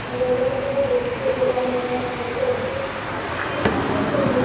എന്തുകൊണ്ട് നമുക്ക് പുല്ലു കൃഷി ചെയ്തുകൂടാന്ന് ഇങ്ങനെ നമ്മള് തോന്നിയത് അപ്പൊ പിന്നെ അങ്ങനെ ചെയ്ത്